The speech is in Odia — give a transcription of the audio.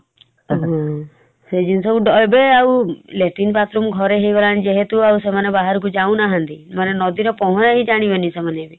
ହୁଁ ସେଇ ଜିନିଷ ଏବେ ଆଉ latrine bathroom ଘରେ ହେଇଗଲାଣି ଯେହେତୁ ଆଉ ସେମାନେ ବାହାରକୁ ଯାଉନାହାନ୍ତି ମାନେ ନଦୀର ପହଁରାବି ଜାଣିବେନି ସେମାନେ ।